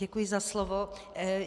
Děkuji za slovo.